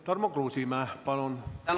Tarmo Kruusimäe, palun!